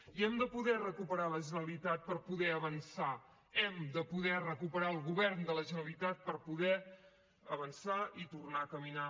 i hem de poder recuperar la generalitat per poder avançar hem de poder recuperar el govern de la generalitat per poder avançar i tornar a caminar